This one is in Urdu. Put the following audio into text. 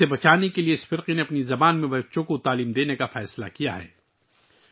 اسے بچانے کے لیے، اس کمیونٹی نے بچوں کو ان کی اپنی زبان میں تعلیم دینے کا فیصلہ کیا ہے